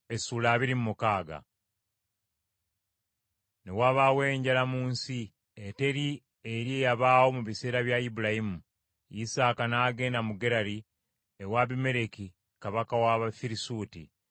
Ne wabaawo enjala mu nsi, eteri eri eyabaawo mu biseera bya Ibulayimu. Isaaka n’agenda mu Gerali, ewa Abimereki kabaka w’Abafirisuuti.